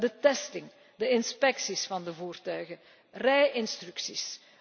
Het testen, de inspecties van de voertuigen, rij instructies.